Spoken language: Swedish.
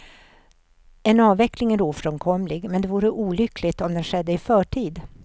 En avveckling är ofrånkomlig, men det vore olyckligt om den skedde i förtid.